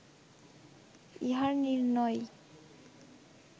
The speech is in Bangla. ইহার নির্ণয়